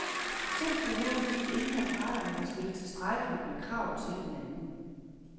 Simpelthen fordi ingen af parterne har stillet tilstrækkeligt med krav til hinanden.